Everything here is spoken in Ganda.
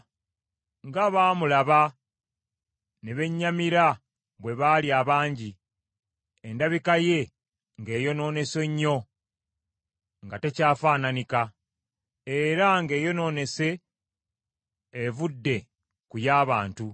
Ng’abaamulaba ne bennyamira bwe baali abangi, endabika ye ng’eyonoonese nnyo nga takyafaananika, era ng’eyonoonese evudde ku y’abantu,